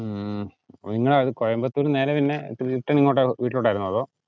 ഉം നിങ്ങൾ ആദ്യം കോയമ്പത്തൂര് നിന്ന് നേരെ പിന്നെ return എങ്ങോട്ടാ വീട്ടിലോട്ടാരുന്നോ? അതോ?